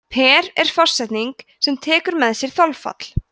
per er forsetning sem tekur með sér þolfall